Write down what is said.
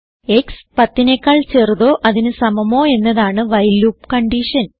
x 10നെക്കാൾ ചെറുതോ അതിന് സമമോ എന്നതാണ് വൈൽ ലൂപ്പ് കൺഡിഷൻ